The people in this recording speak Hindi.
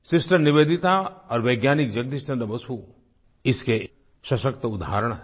सिस्टर निवेदिता और वैज्ञानिक जगदीश चन्द्र बसु इसके सशक्त उदाहरण हैं